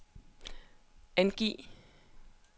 angiv